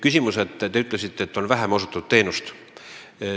Te ütlesite, et teenust on osutatud vähem.